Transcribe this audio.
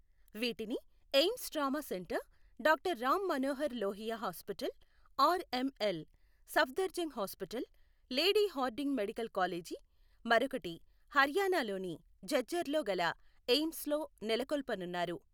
వీటిని AIIMS trauma centre, doctor Ram Manohar Lohia hospital R ML, Safdarjung hospital, lady Hardinge medical college, మరొకటి హర్యానాలోని ఝఝ్ఝర్ లో గల ఎయిమ్స్లో నెలకొల్పనున్నారు.